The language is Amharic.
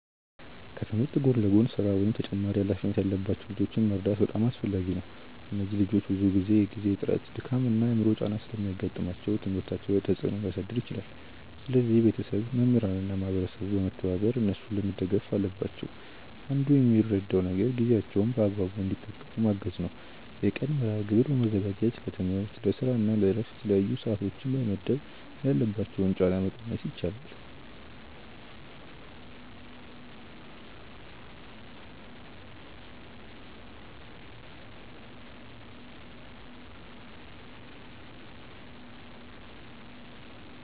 ከትምህርት ጎን ለጎን ስራ ወይም ተጨማሪ ሃላፊነት ያለባቸው ልጆችን መርዳት በጣም አስፈላጊ ነው። እነዚህ ልጆች ብዙ ጊዜ የጊዜ እጥረት፣ ድካም እና የአእምሮ ጫና ስለሚያጋጥማቸው ትምህርታቸው ላይ ተፅእኖ ሊያሳድር ይችላል። ስለዚህ ቤተሰብ፣ መምህራን እና ማህበረሰቡ በመተባበር እነሱን መደገፍ አለባቸው። አንዱ የሚረዳው ነገር ጊዜያቸውን በአግባቡ እንዲጠቀሙ ማገዝ ነው። የቀን መርሐግብር በማዘጋጀት ለትምህርት፣ ለስራ እና ለእረፍት የተለያዩ ሰዓቶችን በመመደብ ያለባቸውን ጫና መቀነስ ይቻላል።